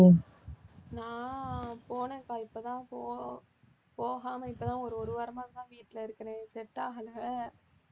நான் போனேன்கா இப்பதான் போ~ போகாம இப்பதான் ஒரு ஒரு வாரமாதான் வீட்டில இருக்கறேன் set ஆகல